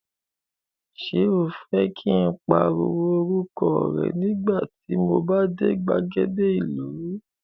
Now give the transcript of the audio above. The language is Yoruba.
Ṣé o fẹ́ kí n pariwo orúkọ rẹ nígbà tí mo bá dé gbàgede ìlú?